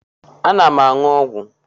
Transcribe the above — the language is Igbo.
Ana m aṅụ ọgwụ.